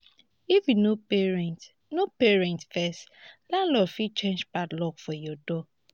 if you no pay rent no pay rent first landlord fit change padlock for your door.